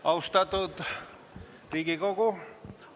Austatud Riigikogu!